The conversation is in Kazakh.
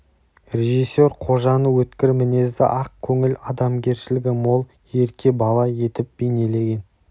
режиссер қожаны өткір мінезді ақ көңіл адамгершілігі мол ерке бала етіп бейнелеген